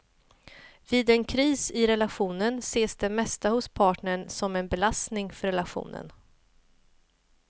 Vid en kris i relationen ses det mesta hos partnern som en belastning för relationen.